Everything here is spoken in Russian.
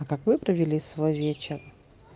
а как вы провели свой вечер